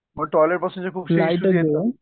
मग टॉयलेटपासून